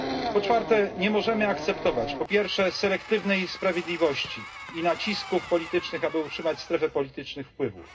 Po czwarte, nie możemy akceptować selektywnej sprawiedliwości i nacisków politycznych, aby utrzymać strefę politycznych wpływów.